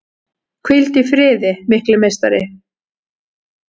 Hvíldu í friði mikli meistari!